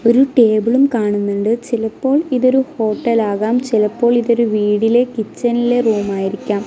ഒരു ടേബിളും കാണുന്നുണ്ട് ചിലപ്പോൾ ഇതൊരു ഹോട്ടൽ ആകാം ചിലപ്പോൾ ഇതൊരു വീടിലെ കിച്ചനിലെ റൂം ആയിരിക്കാം.